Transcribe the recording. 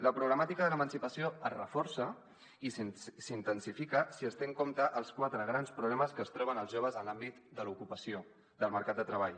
la problemàtica de l’emancipació es reforça i s’intensifica si es tenen en compte els quatre grans problemes que es troben els joves en l’àmbit de l’ocupació del mercat de treball